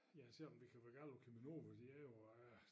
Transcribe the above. Ja selvom vi kan være gale på Cheminova de jo ah